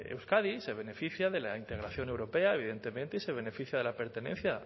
euskadi se beneficia de la integración europea evidentemente y se beneficia de la pertenencia